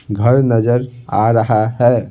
घर नजर आ रहा है।